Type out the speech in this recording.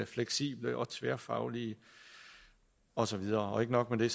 fleksible og tværfaglige og så videre ikke nok med det